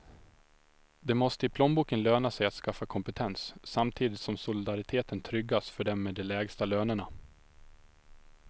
Det måste i plånboken löna sig att skaffa kompetens, samtidigt som solidariteten tryggas för dem med de lägsta lönerna.